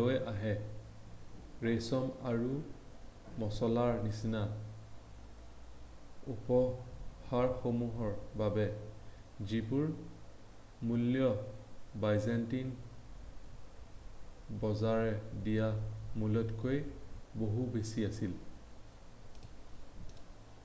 লৈ অহা ৰেচম আৰু মচলাৰ নিচিনা উপহাৰসমূহৰ বাবে যিবোৰৰ মূল্য ব্যাযন্তিন বজাৰে দিয়া মোলতকৈ বহু বেছি আছিল